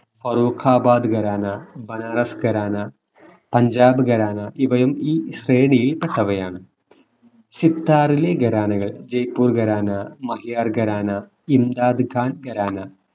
ഫറൂഖാബാദ് ഖരാന ബനാറസ് ഖരാന പഞ്ചാബ് ഖരാനാ ഇവയും ഈ ശ്രേണിയിൽ പെട്ടവയാണ് സിത്താറിലെ ഖരാനകൾ ജയ്പൂർ ഖരാനാ മഹിയാർ ഖരാനാ ഇന്താദ് ഖാൻ ഖരാന